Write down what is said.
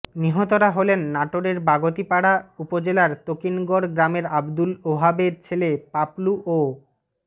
নিহতরা হলেন নাটোরের বাগাতিপাড়া উপজেলার তকিনগর গ্রামের আব্দুল ওহাবের ছেলে পাপলু ও মো